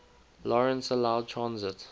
lawrence allowed transit